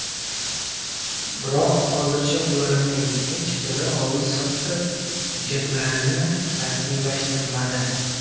Biroq hozircha ularning hech biri oldi-sotdi hujjatlarini rasmiylashtirmadi.